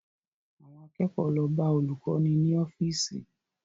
Àwọn akẹ́kọ̀ọ́ lọ bá olùkọ́ni ní ọ́fíìsì